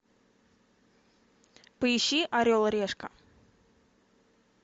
поищи орел и решка